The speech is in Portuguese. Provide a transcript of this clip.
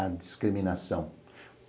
A discriminação.